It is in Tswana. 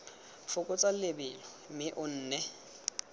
fokotsa lebelo mme o nne